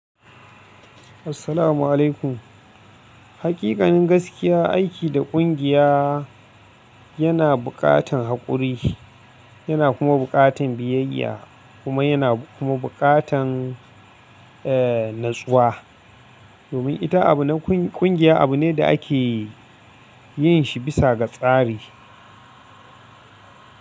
Assalamu alaikum. Hakikanin gaskiya aiki da ƙungiya yana buƙatan haƙuri yana kuma buƙatan biyayya kuma yana kuma buƙatan, eh natsuwa. Domin ita abu na ƙungiya abu ne da ake yin shi bisa ga tsari.